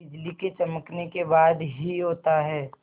बिजली के चमकने के बाद ही होता है